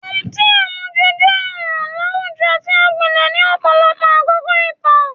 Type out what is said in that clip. Ọtí àmujù jẹ́ ọ̀ràn láwùjọ tí ó gbilẹ̀ ní ọ̀pọ̀lọpọ̀ àkókò ìtàn